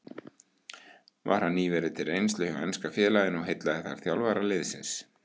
Var hann nýverið til reynslu hjá enska félaginu og heillaði þar þjálfara liðsins.